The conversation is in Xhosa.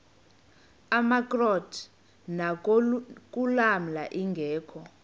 amakrot anokulamla ingeka